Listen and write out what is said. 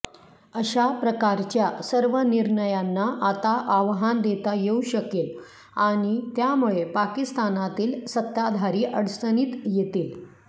अशा प्रकारच्या सर्व निर्णयांना आता आव्हान देता येऊ शकेल आणि त्यामुळे पाकिस्तानातील सत्ताधारी अडचणीत येतील